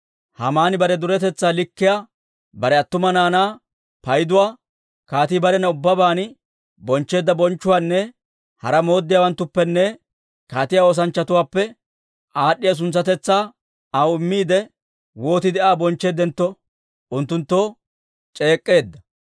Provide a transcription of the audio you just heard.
Haamani bare duretetsaa likkiyaa, bare attuma naanaa payduwaa, kaatii barena ubbabaan bonchcheedda bonchchuwaanne hara mooddiyaawanttuppenne kaatiyaa oosanchchatuwaappe aad'd'iyaa suntsatetsaa aw immiide, wootiide Aa bonchcheeddentto, unttunttoo c'eek'k'eedda.